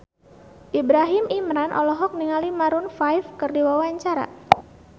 Ibrahim Imran olohok ningali Maroon 5 keur diwawancara